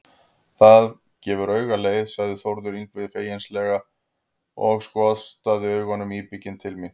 Það gefur auga leið, sagði Þórður Yngvi feginsamlega og skotraði augunum íbygginn til mín.